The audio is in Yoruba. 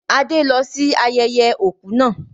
Adé lọ sí ayẹyẹ òkú náà